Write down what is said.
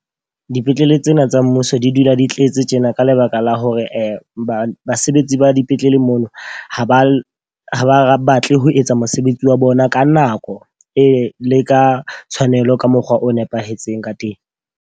Dipetlele tsena tsa mmuso di dula di tletse tjena ka lebaka la hore basebetsi ba dipetlele mono ho ba ha ba batle ho etsa mosebetsi wa bona ka nako le ka tshwanelo ka mokgwa o nepahetseng ka teng.